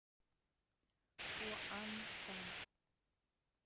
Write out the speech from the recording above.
куантан